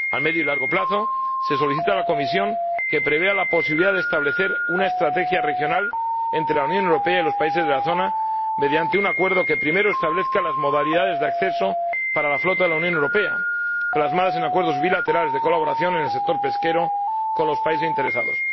A medio y largo plazo, se solicita a la Comisión que prevea la posibilidad de establecer una estrategia regional entre la Unión Europea y los países de la zona, mediante un acuerdo que, en primer lugar, establezca las modalidades de acceso para la flota de la Unión Europea, plasmadas en acuerdos bilaterales de colaboración en el sector pesquero con los países interesados.